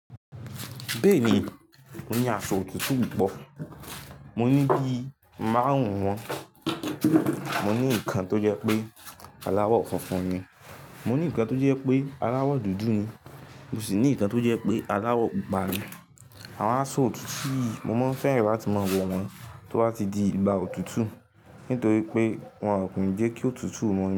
Bẹ́ẹ̀ni, mo ní aṣọ òtútù púpọ̀. Mo ní bí máàrùn ún wọn. Mo ní ìkan tó jẹ́ pé aláwọ̀ funfun ni, mo ní ìkan tó jẹ́ pé aláwọ̀ dúdú ni, mo sì ní ìkan tó jẹ́ pé aláwọ̀ pupa ni. Àwọn aṣọ òtútù mo máa n fẹ́ràn láti mọ wọ̀ wọ́n tó bá ti di igba òtútù nítorí pé wọn a kún ìjẹ́ kí ótutù mọ́ ni.